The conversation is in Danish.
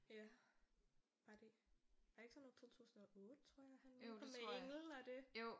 Ja var det var det ikke sådan noget 2008 tror jeg han udkom med engel og det